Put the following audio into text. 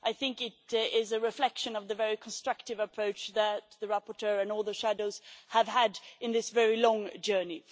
I think it is a reflection of the very constructive approach that the rapporteur and all the shadows have had in this very long journey.